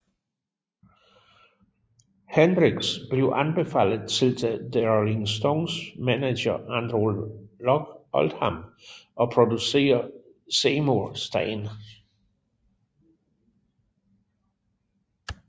Hendrix blev anbefalet til The Rolling Stones manager Andrew Loog Oldham og producer Seymour Stein